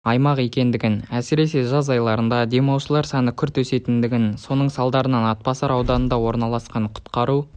аймақ екендігін әсіресе жаз айларында демалушылар саны күрт өсетіндігін соның салдарынан атбасар ауданында орналасқан құтқару